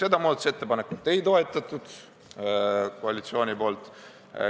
Seda muudatusettepanekut ei toetanud koalitsioon.